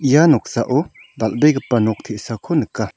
ia noksao dal·begipa nok te·sako nika.